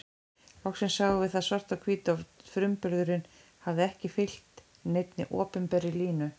Loksins sáum við það svart á hvítu að frumburðurinn hafði ekki fylgt neinni opinberri línu.